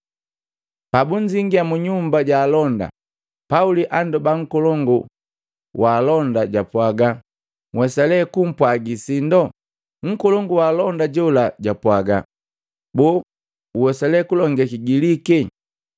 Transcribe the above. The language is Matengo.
Pabunzingia mu nyumba ja alonda, Pauli andoba nkolongu wa alonda jwapwaga, “Nhwesale kukupwagi sindo?” Nkolongu wa alonda jola jwapwaga, “Boo uwesa lee kulonge Kigiliki?